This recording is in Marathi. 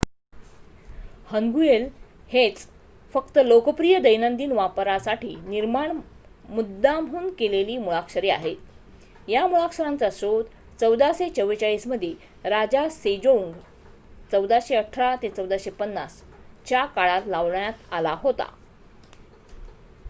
हन्गुएल हेच फक्त लोकप्रिय दैनंदिन वापरासाठी निर्माण मुद्दामहून केलेली मुळाक्षरे आहेत. या मुळाक्षरांचा शोध 1444 मध्ये राजा सेजोंग 1418 – 1450 च्या काळात लावण्यात आला होता